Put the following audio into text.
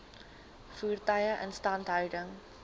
voertuie instandhouding